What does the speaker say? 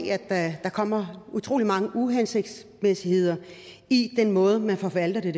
at der kommer utrolig mange uhensigtsmæssigheder i den måde man forvalter det